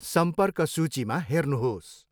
सम्पर्क सूचीमा हेर्नुहोस्।